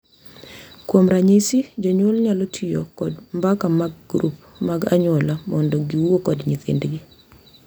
Kuom ranyisi, jonyuol nyalo tiyo kod mbaka mag grup mag anyuola mondo giwuo kod nyithindgi .